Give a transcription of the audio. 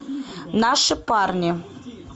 наши парни